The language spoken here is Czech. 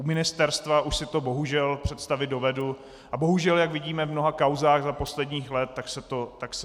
U ministerstva už si to bohužel představit dovedu a bohužel, jak vidíme v mnoha kauzách za poslední léta, tak se to děje.